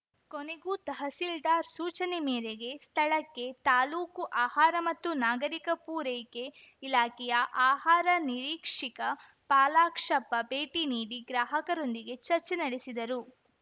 ಕೊನೆಗೂ ತಹಸೀಲ್ದಾರ್‌ ಸೂಚನೆ ಮೇರೆಗೆ ಸ್ಥಳಕ್ಕೆ ತಾಲೂಕು ಆಹಾರ ಮತ್ತು ನಾಗರಿಕ ಪೂರೆಕೆ ಇಲಾಖೆಯ ಆಹಾರ ನಿರೀಕ್ಷಿಕ ಫಾಲಾಕ್ಷಪ್ಪ ಭೇಟಿ ನೀಡಿ ಗ್ರಾಹಕರೊಂದಿಗೆ ಚರ್ಚೆ ನಡೆಸಿದರು